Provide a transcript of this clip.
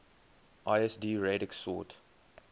lsd radix sort